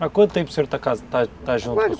Há quanto tempo o senhor está está ca junto?